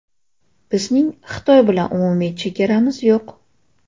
Bizning Xitoy bilan umumiy chegaramiz yo‘q.